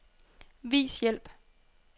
Vis hjælp.